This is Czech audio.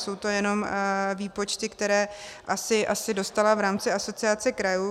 Jsou to jenom výpočty, které asi dostala v rámci Asociace krajů.